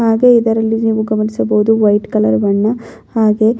ಹಾಗೆ ಇದರಲ್ಲಿ ನೀವು ಗಮನಿಸಬಹುದು ವೈಟ್ ಕಲರ್ ಬಣ್ಣ ಹಾಗೆ --